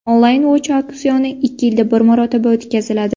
Only Watch auksioni ikki yilda bir marotaba o‘tkaziladi.